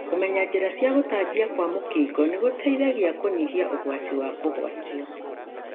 Kũmenya njĩra cia gũtambio kwa mũkingo nĩgũteithagia kũnyihia ũgwati wa kũgwatio.